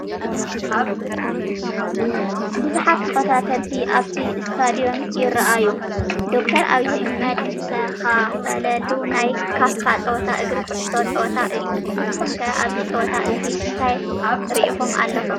ብዙሓት ተኸታተልቲ ኣብቲ ስታድዮም ይራኣዩ፡፡ ዶ/ር ኣብይ ኣሕመድ ዝተኻፈለሉ ናይ ካፍ ፀወታ እግሪ ኩዕሶ ፀወታ እዩ፡፡ ንስኹም ከ ኣብዚ ፀወታ እዚ እንታይ ሪኢቶ ኣለኩም?